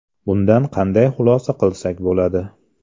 Bundan qanday xulosa qilsak bo‘ladi?